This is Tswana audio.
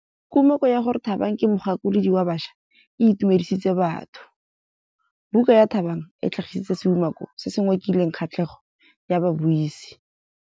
Kumakô ya gore Thabang ke mogakolodi wa baša e itumedisitse batho. Buka ya Thabang e tlhagitse seumakô se se ngokileng kgatlhegô ya babuisi.